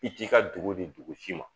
I t'i ka dugu di dugu si ma